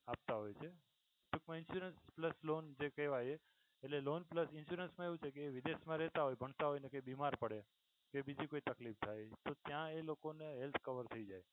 આપતા હોય છે. પણ insurance plus loan જે કેહવાય એ loan plus insurance મા એવું છે કે એ વિદેશ મા રેહતા હોય ભણતા હોય ને કઈ બીમાર પડે બીજી કોઈ તકલીફ થાય ત્યાં એ લોકો ને health cover થઈ જાય.